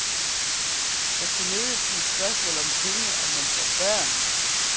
Det skulle nødig blive et spørgsmål om penge om man får børn.